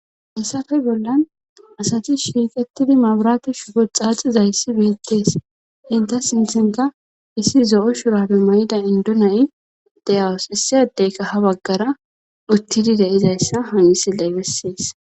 Hayssafe bollan asati shiiqettidi mabrate shugu xaaxizayssi beettees inta sinthinka issi zo'o shurabe may'ida indunay deyawus issi adeyka ha baggara uttidi deizayssa hanisi leybessees.